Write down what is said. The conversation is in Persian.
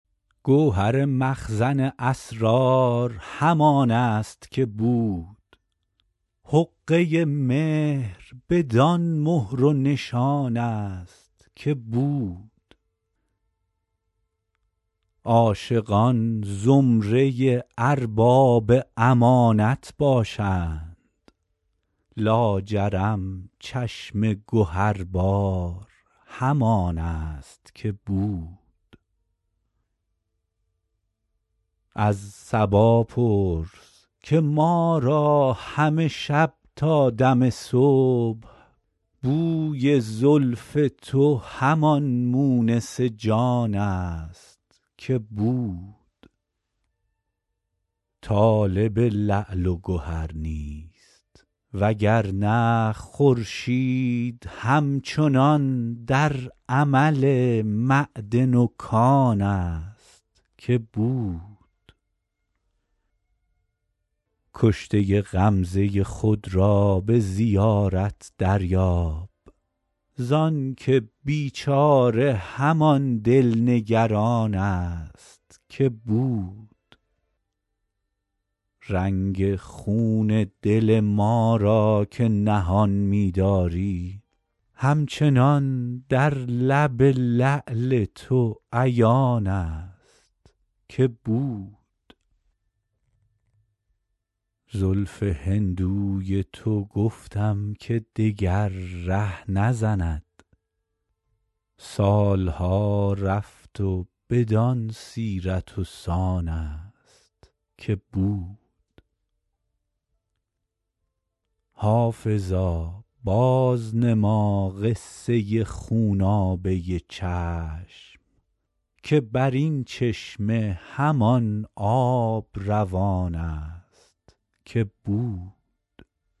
گوهر مخزن اسرار همان است که بود حقه مهر بدان مهر و نشان است که بود عاشقان زمره ارباب امانت باشند لاجرم چشم گهربار همان است که بود از صبا پرس که ما را همه شب تا دم صبح بوی زلف تو همان مونس جان است که بود طالب لعل و گهر نیست وگرنه خورشید هم چنان در عمل معدن و کان است که بود کشته غمزه خود را به زیارت دریاب زانکه بیچاره همان دل نگران است که بود رنگ خون دل ما را که نهان می داری همچنان در لب لعل تو عیان است که بود زلف هندوی تو گفتم که دگر ره نزند سال ها رفت و بدان سیرت و سان است که بود حافظا بازنما قصه خونابه چشم که بر این چشمه همان آب روان است که بود